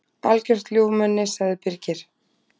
Algjört ljúfmenni, sagði Birgir.